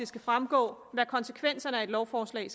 skal fremgå hvad konsekvenserne af et lovforslag